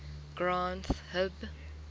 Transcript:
granth hib